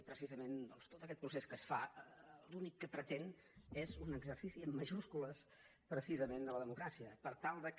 i precisament tot aquest procés que es fa l’únic que pretén és un exercici en majúscules de la democràcia per tal que